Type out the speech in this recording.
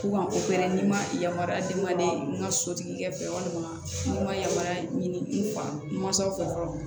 K'u ka ni ma yamaruya dama de n ka sotigi ka fɛ walima n'u ma yamaruya ɲini n mansaw fɛ fɔlɔ